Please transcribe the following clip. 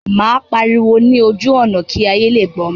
Màá lọ pariwo ní ojú ọ̀nà kí ayé lè gbọ́ mi.